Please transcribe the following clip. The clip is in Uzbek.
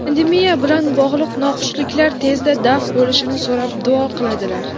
pandemiya bilan bog‘liq noxushliklar tezda daf bo‘lishini so‘rab duo qiladilar.